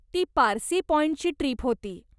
ती पारसी पाॅइंटची ट्रीप होती.